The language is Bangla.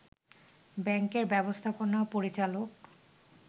ব্যাংকের ব্যবস্থাপনা পরিচালক